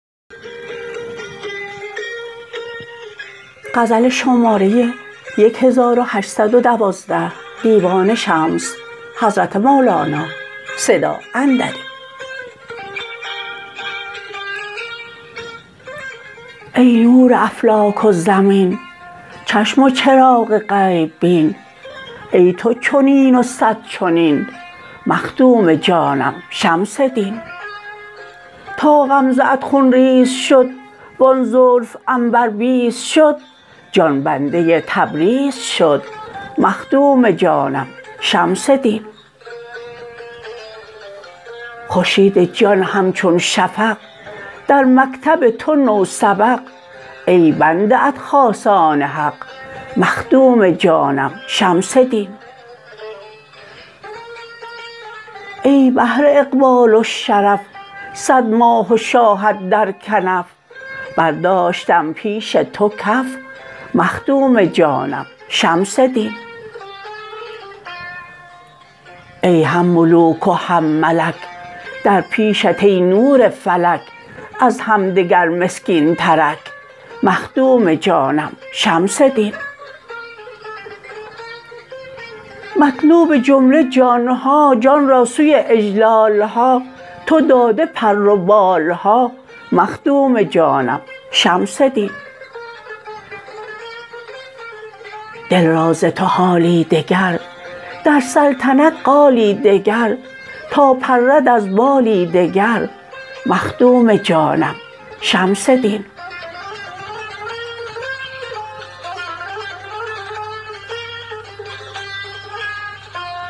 ای نور افلاک و زمین چشم و چراغ غیب بین ای تو چنین و صد چنین مخدوم جانم شمس دین تا غمزه ات خون ریز شد وان زلف عنبربیز شد جان بنده تبریز شد مخدوم جانم شمس دین خورشید جان همچون شفق در مکتب تو نوسبق ای بنده ات خاصان حق مخدوم جانم شمس دین ای بحر اقبال و شرف صد ماه و شاهت در کنف برداشتم پیش تو کف مخدوم جانم شمس دین ای هم ملوک و هم ملک در پیشت ای نور فلک از همدگر مسکینترک مخدوم جانم شمس دین مطلوب جمله جان ها جان را سوی اجلال ها تو داده پر و بال ها مخدوم جانم شمس دین دل را ز تو حالی دگر در سلطنت قالی دگر تا پرد از بالی دگر مخدوم جانم شمس دین